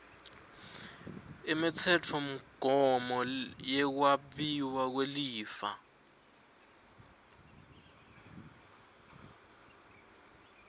imitsetfomgomo yekwabiwa kwelifa